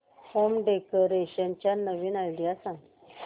home decoration च्या नवीन idea सांग